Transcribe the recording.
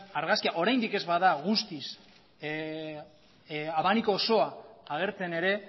argazkia oraindik ez baldin bada guztiz abanikoa osoa agertzen ere